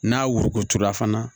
N'a worokuturula fana